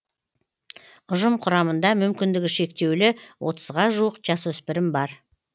ұжым құрамында мүмкіндігі шектеулі отызға жуық жасөспірім бар